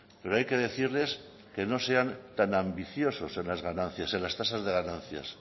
pero hay que decirles que no sean tan ambiciosos en las ganancias en las tasas de ganancias